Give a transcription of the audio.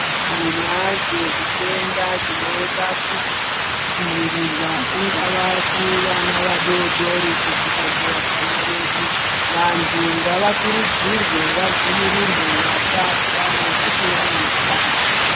Tinazvo zvitenda zvinoda kudzivirirwa kungava kuvana vadoodori kusvika kuvatana vedu. Vanthu ngavakurudzirwe vadzivirirwe vasatya nekuti vanofa.